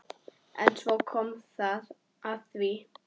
En svo kom að því.